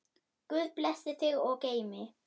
Guð blessi þig og geymi.